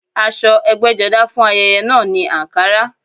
Aṣọ ẹgbẹ́jọdá fún ayẹyẹ náà ni àǹkará